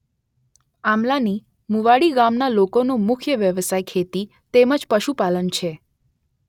આમલાની મુવાડી ગામના લોકોનો મુખ્ય વ્યવસાય ખેતી તેમ જ પશુપાલન છે.